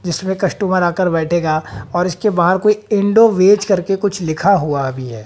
जिसमें कस्टमर आकर बैठेगा और इसके बाहर कोई इंडो वेज करके कुछ लिखा हुआ है।